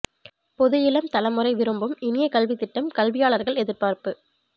பொது இளம் தலைமுறை விரும்பும் இனிய கல்வி திட்டம் கல்வியாளர்கள் எதிர்பார்ப்பு